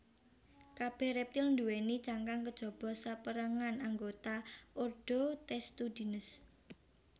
Kabèh rèptil nduwèni cangkang kejaba sapérangan anggota ordo Testudines